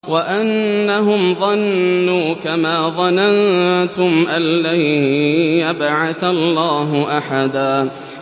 وَأَنَّهُمْ ظَنُّوا كَمَا ظَنَنتُمْ أَن لَّن يَبْعَثَ اللَّهُ أَحَدًا